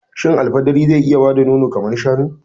Shin al fidiri zai iya bada nono kamar shanu?